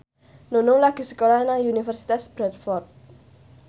Nunung lagi sekolah nang Universitas Bradford